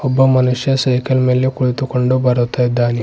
ಒಬ್ಬ ಮನುಷ್ಯ ಸೈಕಲ್ ಮೇಲೆ ಕುಳಿತುಕೊಂಡು ಬರುತ್ತಿದ್ದಾನೆ.